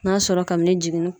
N'a sɔrɔ kabini jiginni.